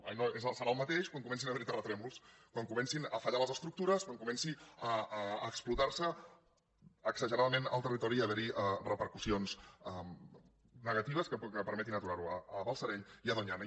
ah no serà el mateix quan comencin a haver hi els terratrèmols quan comencin a fallar les estructures quan comenci a explotar se exageradament el territori i a haver hi repercussions negatives que permetin aturar ho a balsareny i a doñana